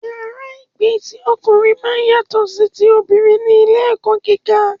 Yàrá ìgbé ti ọkùnrin máa ń yàtọ sí ti obìnrin ní ilé ẹ̀kọ́ gíga